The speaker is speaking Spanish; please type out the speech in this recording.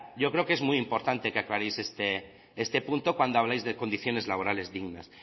yo creo que es muy importante que aclaréis este punto cuando habléis de condiciones laborales dignas